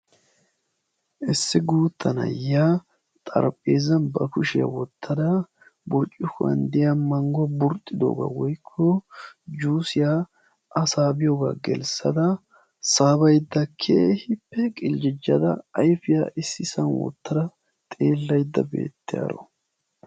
issi guutta na'iya xarpheezzzan ba kushiya wottada burkkuwan de'iya manguwa burxxidoogaa woykko juusiya a saabiyooga gelisada saabaydda keehippe qiljjijada ayfiya issisan wotada xeelaydda beettiyaaro.